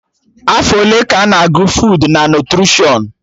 Afọ ole ka a na-agụ fuud na nutrishọn?